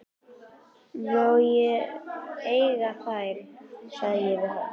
Má ég eiga þær, segi ég við hann.